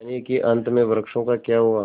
जानिए कि अंत में वृक्षों का क्या हुआ